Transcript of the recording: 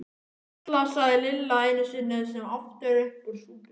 Hjalla, sagði Lilla einu sinni sem oftar upp úr súpunni.